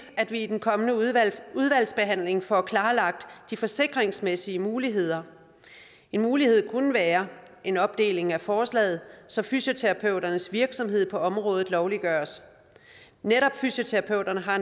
at vi i den kommende udvalgsbehandling får klarlagt de forsikringsmæssige muligheder en mulighed kunne være en opdeling af forslaget så fysioterapeuternes virksomhed på området lovliggøres netop fysioterapeuterne har